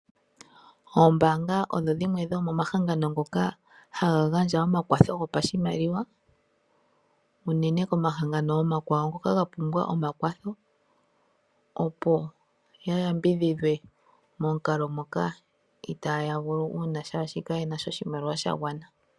Oombaanga odhi dhimwe dhomomahangano ngoka haga gandja omakwatho gopashimaliwa unene komahangano omakwawo ngoka ga pumbwa omakwatho opo ya yambidhidhwe momukalo moka uuna itaaya vulu shaashi kayena sha oshimaliwa sha gwana.